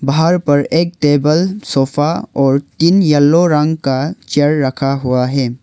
बाहर पर एक टेबल सोफा और तीन येलो रंग का चेयर रखा हुआ है।